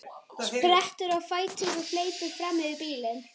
Sprettur á fætur og hleypur fram fyrir bílinn.